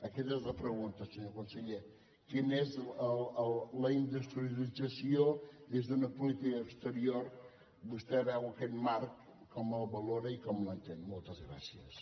aquesta és la pregunta senyor conseller quina és la industrialització des d’una política exterior vostè veu aquest marc com el valora i com l’entén moltes gràcies